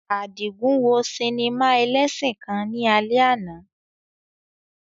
Adigun wo sinima elesin kan ni alẹ ana